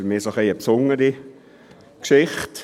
Für mich ist dies eine etwas besondere Geschichte.